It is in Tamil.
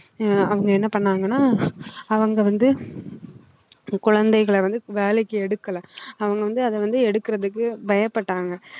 ஆஹ் அவங்க என்ன பண்ணாங்கன்னா அவங்க வந்து குழந்தைகளை வந்து வேலைக்கு எடுக்கலை அவங்க வந்து அதை வந்து எடுக்கிறதுக்கு பயப்பட்டாங்க